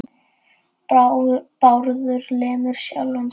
Bárður lemur sjálfan sig.